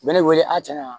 U bɛ ne wele an cɛ wa